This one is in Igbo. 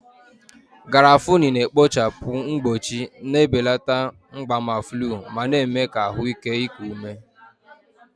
Garafuni na-ekpochapụ mkpọchi, na-ebelata mgbaàmà flu, ma na-eme ka ahụ ike iku ume.